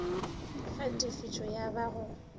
ge tefišo ya ba go